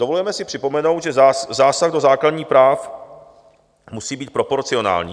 Dovolujeme si připomenout, že zásah do základních práv musí být proporcionální.